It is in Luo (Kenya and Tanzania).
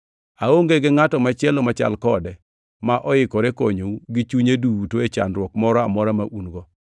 Aonge gi ngʼato machielo machal kode, ma oikore konyou gi chunye duto e chandruok moro amora ma un-go.